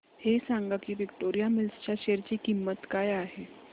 हे सांगा की विक्टोरिया मिल्स च्या शेअर ची किंमत काय आहे